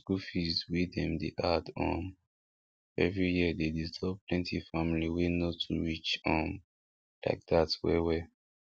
school fees wey dem dey add um every year dey disturb plenty family wey no too rich um like dat well well